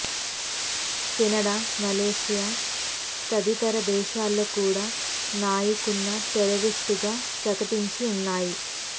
Canada Malaysia తదితర దేశాలు కూడ నాయిక్ను టెర్రరిస్టుగా ప్రకటించి ఉన్నాయి